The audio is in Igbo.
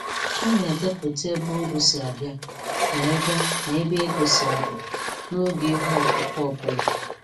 Ọ na-edepụta ebe uru si abịa na ebe na ebe ego si apụ, n'oge ihe ọkụkụ ọ bụla.